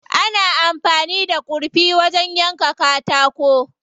Ana amfani da kurfi wajen yanka katako.